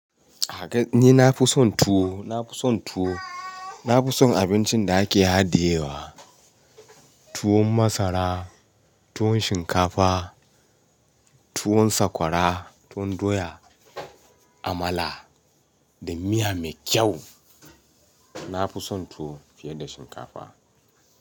Ni nafi son tuwo, nafi son tuwo. Nafi son abincin da ake hadiye wa. Tuwon masara, tuwon shinkafa, tuwon sakwara, tuwon doya, amala da miya mai kyau. Na fi son tuwo fiye da shinkafa.